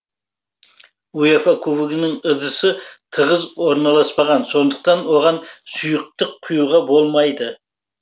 уефа кубогының ыдысы тығыз орналаспаған сондықтан оған сұйықтық құюға болмайды